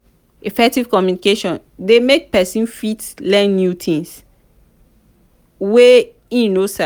effective communication de make persin fit learn things wey im no sabi